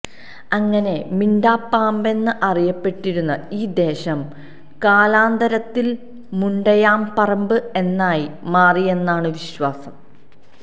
അങ്ങനെ മിണ്ടാപറമ്പെന്ന് അറിയപ്പെട്ടിരുന്ന ഈ ദേശം കാലാന്തരത്തിൽ മുണ്ടയാംപറമ്പ് എന്നായി മാറിയെന്നാണ് വിശ്വാസം